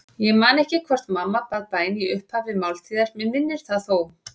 Ég man ekki hvort mamma bað bæn í upphafi máltíðar, mig minnir það þó.